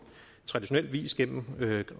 traditionel vis gennem